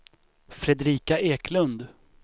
Fredrika Eklund